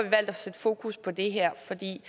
at sætte fokus på det her for vi